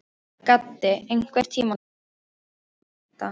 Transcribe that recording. Gaddi, einhvern tímann þarf allt að taka enda.